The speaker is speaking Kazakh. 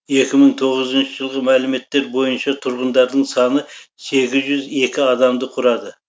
екі мың тоғызыншы жылғы мәліметтер бойынша тұрғындарының саны сегіз жүз екі адамды құрады